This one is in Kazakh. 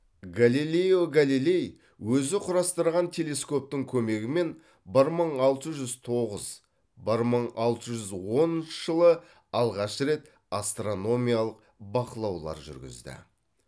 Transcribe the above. галилео галилей өзі құрастырған телескоптың көмегімен бір мың алты жүз тоғыз бір мың алты жүз оныншы жылы алғаш рет астрономиялық бақылаулар жүргізді